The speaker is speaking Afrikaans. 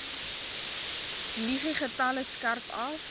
muggiegetalle skerp af